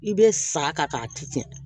I bɛ sa ka ci cɛn